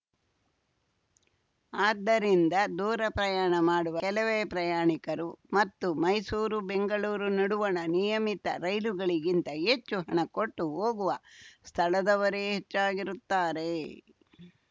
ಆದ್ದರಿಂದ ದೂರ ಪ್ರಯಾಣ ಮಾಡುವ ಕೆಲವೇ ಪ್ರಯಾಣಿಕರು ಮತ್ತು ಮೈಸೂರು ಬೆಂಗಳೂರು ನಡುವಣ ನಿಯಮಿತ ರೈಲುಗಳಿಗಿಂತ ಹೆಚ್ಚು ಹಣ ಕೊಟ್ಟು ಹೋಗುವ ಸ್ಥಳದವರೇ ಹೆಚ್ಚಾಗಿರುತ್ತಾರೆ